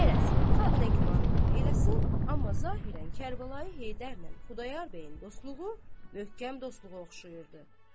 Qərəz, xalq nə güman eləyir eləsin, amma zahirən Kərbəlayı Heydər ilə Xudayar bəyin dostluğu möhkəm dostluğa oxşayırdı.